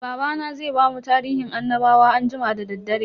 Babana zai bamu tarihin annabawa anjima da daddare.